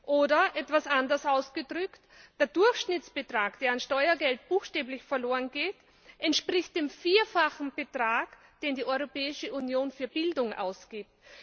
Oder etwas anders ausgedrückt Der Durchschnittsbetrag, der an Steuergeld buchstäblich verlorengeht, entspricht dem Vierfachen des Betrags, den die Europäische Union für Bildung ausgibt.